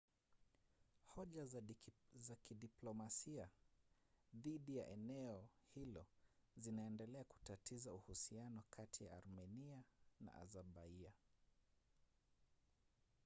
hoja za kidiplomasia dhidi ya eneo hilo zinaendelea kutatiza uhusiano kati ya armenia na azerbaian